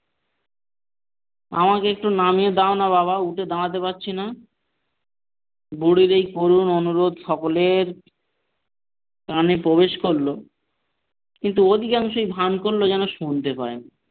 আমাকে একটু নামিয়ে দাও না বাবা উঠে দাঁড়াতে পারছি না বুড়ির এই করুন অনুরোধ সকলেরই কানে প্রবেশ করল কিন্তু ওদিকে এমন একটা ভান করল যেন শুনতে পাই না।